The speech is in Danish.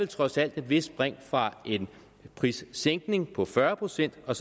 trods alt et vist spring fra en prissænkning på fyrre procent og